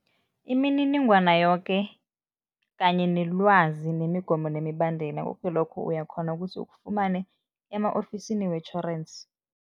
Imininingwana yoke kanye nelwazi nemigomo nemibandela, koke lokhu, uyakghona ukusi ukufumane ema-ofisini wetjhorensi.